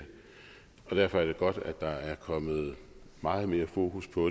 derfor er det godt at der er kommet meget mere fokus på